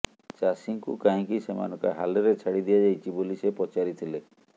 ଚାଷୀଙ୍କୁ କାହିଁକି ସେମାନଙ୍କ ହାଲ୍ରେ ଛାଡି ଦିଆଯାଇଛି ବୋଲି ସେ ପଚାରିଥିଲେ